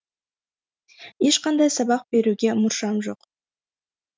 ешқандай сабақ беруге мұршам жоқ